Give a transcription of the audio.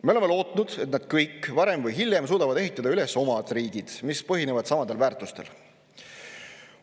Me oleme lootnud, et nad kõik varem või hiljem suudavad ehitada üles oma riigi, mis põhineb samadel väärtustel.